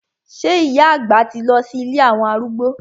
Sé ìyá àgbà ti lọ sí ilé àwọn arúgbó?